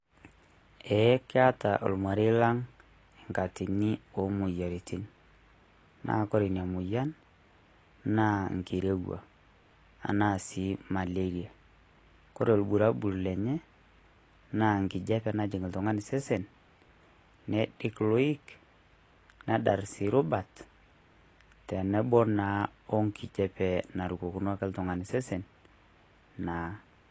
Ee keeta olmarei lang' engatini ok moyiaritin naa ore Ina moyian naa engirowua, enaa sii emaleria, kore irobulabul lenye naa enkijiape naajing' oltung'ani sesen, neidik iloik, nedarr sii irubat tenebo naa wengijiape narukokino ake oltung'ani sesen naa.